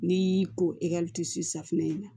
N'i y'i ko i ka safunɛ in na